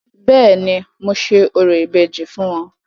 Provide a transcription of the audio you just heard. Béèni, mo ṣe orò ìbejì fún wọn.